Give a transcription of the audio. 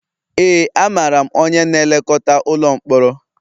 Ee, amaara m onye na-elekọta ụlọ mkpọrọ